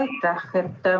Aitäh!